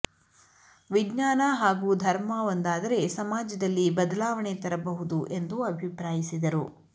ವಿಜ್ಞಾನ ಹಾಗೂ ಧರ್ಮ ಒಂದಾದರೆ ಸಮಾಜದಲ್ಲಿ ಬದಲಾವಣೆ ತರಬಹುದು ಎಂದು ಅಭಿಪ್ರಾಯಿಸಿದರು